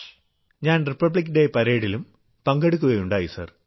ഞാൻ republic day പരേഡിലും പങ്കെടുക്കുകയുണ്ടായി സർ